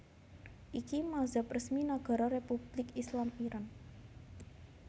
Iki mazhab resmi Nagara Republik Islam Iran